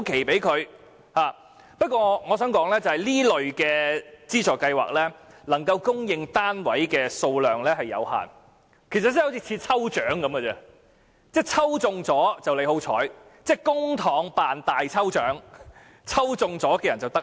不過，我想指出的是，這類資助計劃能供應的單位數量有限，申請者好像參加抽獎，抽中了便是好運，公帑辦大抽獎，抽中的人就得益。